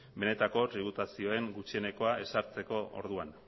benetako tributazioen gutxienekoa ezartzeko orduan